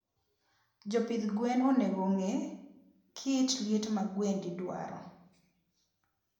jopidh gwen onego ongee kit liet ma gwendi dwaro